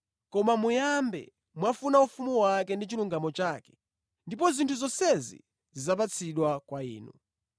Koma muyambe mwafuna ufumu wake ndi chilungamo chake ndipo zinthu zonsezi zidzapatsidwa kwa inu.